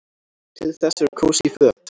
Til þess eru kósí föt.